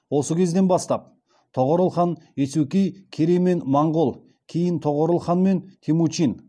осы кезден бастап тоғорыл хан есукей керей мен моңғол кейін тоғорыл хан мен темучин